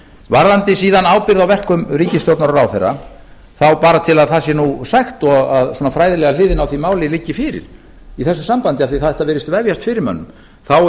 varðandi síðan ábyrgð á verkum ríkisstjórnar og ráðherra bara svo það sé nú sagt og fræðilega hliðin á því máli liggi fyrir í þessu sambandi af því þetta virðist vefjast fyrir mönnum þá